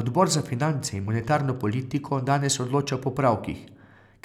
Odbor za finance in monetarno politiko danes odloča o popravkih,